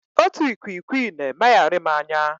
Otu ikwikwii na-emegharị m anya.